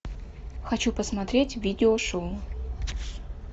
хочу посмотреть видео шоу